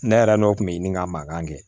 Ne yɛrɛ n'o kun be ɲini ka mankan kɛ